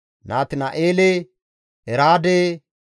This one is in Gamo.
Natina7eele, Eraade,